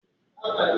Ofíìsì sadé rẹwà púpọ̀